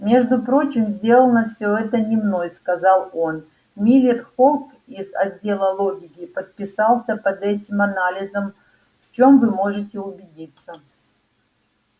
между прочим сделано всё это не мной сказал он миллер холк из отдела логики подписался под этим анализом в чём вы можете убедиться